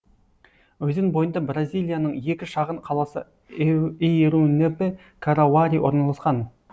өзен бойында бразилияның екі шағын қаласы эйрунепе карауари орналасқан